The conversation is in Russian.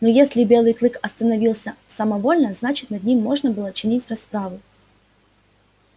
но если белый клык останавливался самовольно значит над ним можно было чинить расправу